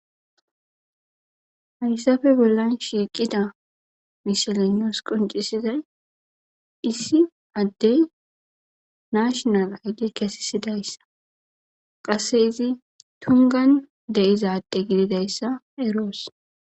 Hayssafe bollan shiiqida mishilenos qoncisizay issi addey nashinal hage kesisidayssa qasse izi tungan deizaadde gididayssa eroos